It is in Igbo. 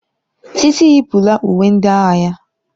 Titi yipụla uwe ndị agha ya.